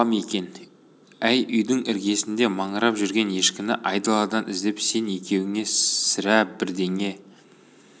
апам екен әй үйдің іргесінде маңырап жүрген ешкіні айдаладан іздеп сен екеуіңе сірә бірдеңе